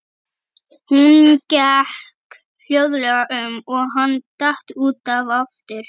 Hún gekk hljóðlega um og hann datt út af aftur.